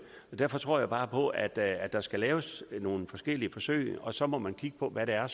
og derfor tror jeg bare på at at der skal laves nogle forskellige forsøg og så må man kigge på hvad det er